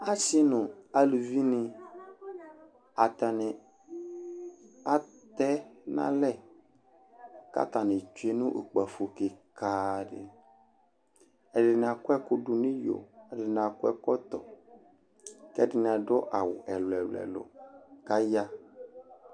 Asɩ nʋ aluvinɩ, atanɩ atɛ nʋ alɛ kʋ atanɩ tsue nʋ ukpafo kɩka dɩ Ɛdɩnɩ akɔ ɛkʋ dʋ nʋ iyo Ɛdɩnɩ akɔ ɛkɔtɔ kʋ ɛdɩnɩ adʋ awʋ ɛlʋ-ɛlʋ kʋ aya